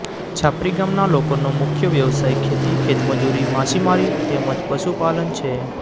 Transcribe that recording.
છાપરી ગામના લોકોનો મુખ્ય વ્યવસાય ખેતી ખેતમજૂરી માછીમારી તેમ જ પશુપાલન છે